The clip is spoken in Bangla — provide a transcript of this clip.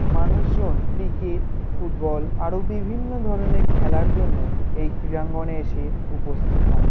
মানুষ জন ক্রিকেট ফুটবল আরও বিভিন্ন ধরনের খেলার জন্য এই ক্রীড়াঙ্গনে এসে উপস্থিত হন।